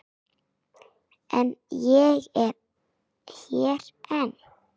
En ég er hér enn.